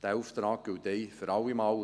Dieser Auftrag gilt ein für alle Mal.